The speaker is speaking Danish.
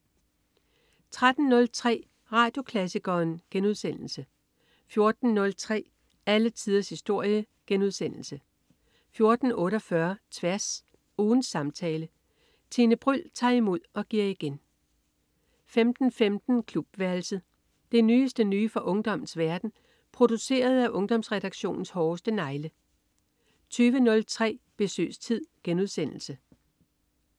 13.03 Radioklassikeren* 14.03 Alle tiders historie* 14.48 Tværs. Ugens samtale. Tine Bryld tager imod og giver igen 15.15 Klubværelset. Det nyeste nye fra ungdommens verden, produceret af Ungdomsredaktionens hårdeste negle 20.03 Besøgstid*